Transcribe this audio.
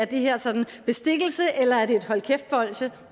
det her sådan bestikkelse eller er det et hold kæft bolsje